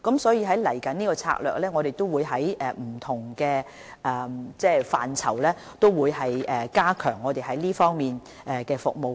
所以，我們未來的策略是在不同範疇加強這方面的服務。